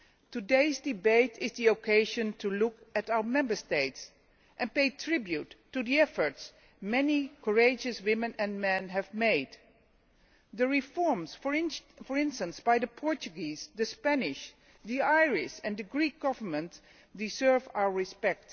Today's debate is the occasion to look at our Member States and pay tribute to the efforts many courageous women and men have made. The reforms, for instance, carried out by the Portuguese, the Spanish, the Irish and the Greek governments deserve our respect.